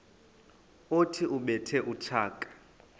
othi ubethe utshaka